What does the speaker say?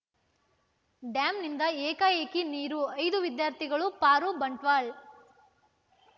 ಡ್ಯಾಂನಿಂದ ಏಕಾಏಕಿ ನೀರು ಐದು ವಿದ್ಯಾರ್ಥಿಗಳು ಪಾರು ಬಂಟ್ವಾಳ